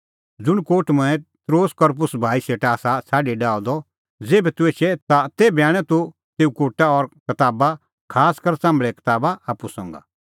ज़ुंण कोट मंऐं त्रोआस करपुस भाई सेटा आसा छ़ाडी आअ द ज़ेभै तूह एछे ता तेभै आणै तूह तेऊ कोटा और कताबा खासकर च़ाम्भल़े कताबा आप्पू संघा